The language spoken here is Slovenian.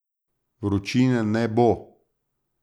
Vročine ne bo.